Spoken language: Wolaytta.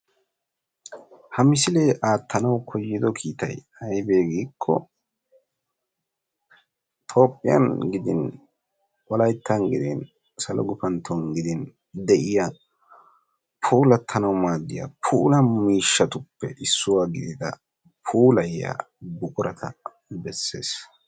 Ha misilee aattanawu koyyido kiitay ayibee giikko tophphiyan gidin wolayittan gidin salo gupantton gidin de'iya puulattanawu maaddiya puula miishshatuppe issuwa gidida puulayiya buqurata besses.